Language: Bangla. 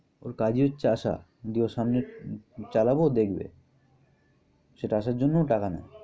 ওর কাজই হচ্ছে আসা। গিয়ে ওর সামনে~ চালাবো দেখবে। সেটা আসার জন্যও টাকা নেয়।